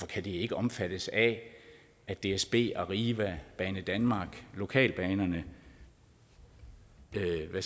kan det ikke omfattes af at dsb arriva banedanmark lokalbanerne lejer